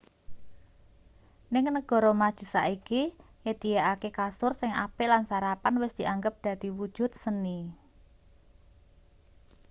ning negara maju saiki nyedhiyakake kasur sing apik lan sarapan wis dianggep dadi wujud-seni